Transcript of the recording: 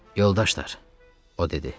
Yoldaşlar, o dedi.